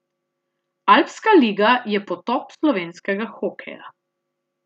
Alpska liga je potop slovenskega hokeja.